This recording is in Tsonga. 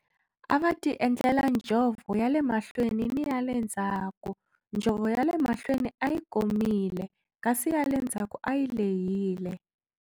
A va tiendlela njhovo ya le mahlweni ni ya le ndzhaku, njhovo ya le mahlweni a yi komile kasi ya le ndzhaku a yi lehile.